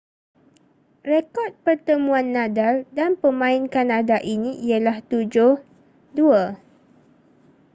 rekod pertemuan nadal dan pemain kanada ini ialah 7-2